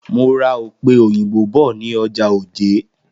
Mo ra òpe òyìnbó bọ̀ ní ọjà Òjé.